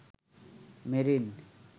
marine